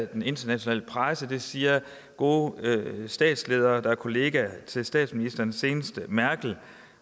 den internationale presse og det siger gode statsledere der er kollegaer til statsministeren senest merkel